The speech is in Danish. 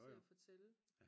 til at fortælle